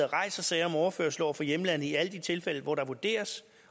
rejser sager om overførsel over for hjemlandet i alle de tilfælde hvor der vurderes